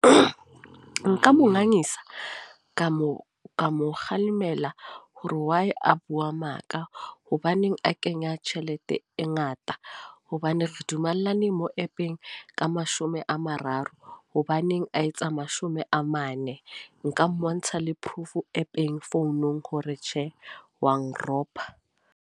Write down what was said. Nka mo nganisa, ka mo ka mo kgalemela. Hore why a bua maka. Hobaneng a kenya tjhelete e ngata. Hobane re dumelane mo app-eng, ka mashome a mararo. Hobaneng a etsa mashome a mane. Nka mmontsha le proof mo app-eng, founong hore tjhe wa nropa.